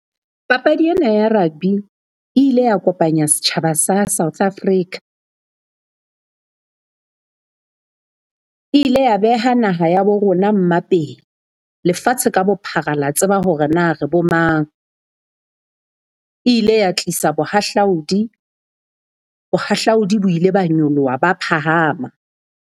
Papadi ena ya rugby e ile ya kopanya setjhaba sa South Africa e ile ya beha naha ya bo rona mmapeng. Lefatshe ka bophara la tseba hore na re bo mang. E ile ya tlisa bohahlaudi, bohahlaudi bo ile ba nyoloha ba phahama.